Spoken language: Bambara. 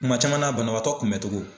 Kuma caman na banabagatɔ kunbɛn togo.